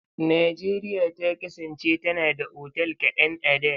Najeriya ta kasance tana da otal kaɗan a da.